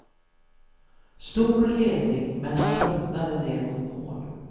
Stor ledning men han tröttnade ner mot mål.